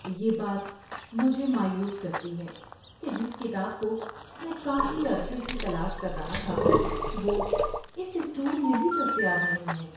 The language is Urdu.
یہ بات مجھے مایوس کرتی ہے کہ جس کتاب کو میں کافی عرصے سے تلاش کر رہا تھا وہ اس اسٹور میں بھی دستیاب نہیں ہے۔